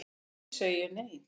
Því segi ég nei